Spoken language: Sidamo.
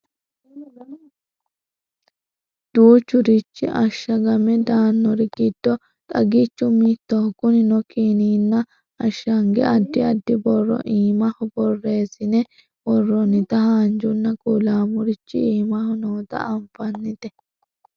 duuchurichi ashshagame daannori giddo xagichu mittoho kunino kiniinna ashshange addi addi borro iimaho borreessine worroonnita haanjanna kulaamurichi iimaho noota anfannite